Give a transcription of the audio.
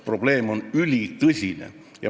Probleem on ülitõsine.